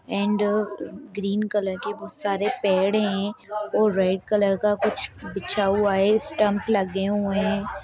And green colour के बहुत सारे पेड़ है और रेड कलर का कुछ बिछा हुआ है स्टम्प लगे हुए है।